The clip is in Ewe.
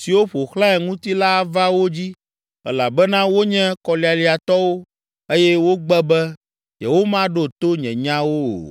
siwo ƒo xlãe ŋuti la ava wo dzi elabena wonye kɔlialiatɔwo eye wogbe be yewomaɖo to nye nyawo o.’ ”